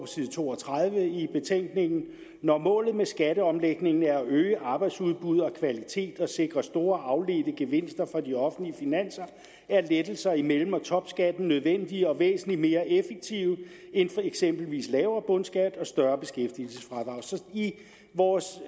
side to og tredive i betænkningen når målet med skatteomlægningen er at øge arbejdsudbud og kvalitet og sikre store afledte gevinster for de offentlige finanser er lettelser i mellem og topskatten nødvendige og væsentlig mere effektive end eksempelvis lavere bundskat og større beskæftigelsesfradrag i vores